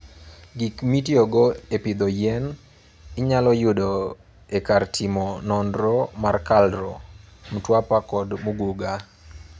Gik mitiyogo e pidho yien inyalo yud e kar timo nonro mar KALRO (Mtwapa kod Muguga).